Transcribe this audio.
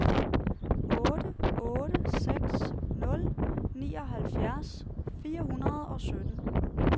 otte otte seks nul nioghalvfjerds fire hundrede og sytten